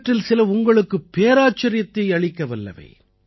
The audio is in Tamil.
இவற்றில் சில உங்களுக்கு பேராச்சரியத்தை அளிக்க வல்லவை